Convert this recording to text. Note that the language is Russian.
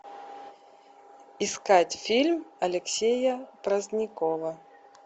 искать фильм алексея праздникова